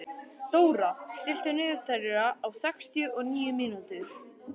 Dóra, stilltu niðurteljara á sextíu og níu mínútur.